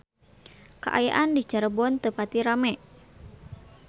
Kaayaan di Cirebon teu pati rame